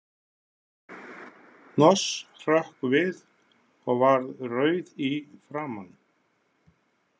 Hnoss hrökk við og varð rauð í framan.